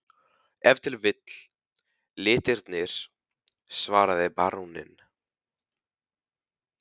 Ef til vill litirnir, svaraði baróninn.